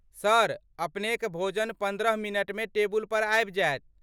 Sir, अपनेक भोजन पन्द्रह मिनटमे टेबुल पर आबि जायत।